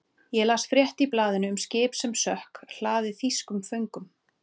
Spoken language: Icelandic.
Ég las frétt í blaðinu um skip sem sökk, hlaðið þýskum föngum.